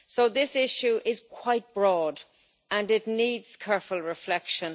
So this issue is quite broad and it needs careful reflection.